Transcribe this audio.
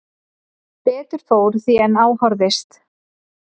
Betur fór því en á horfðist